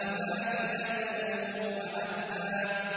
وَفَاكِهَةً وَأَبًّا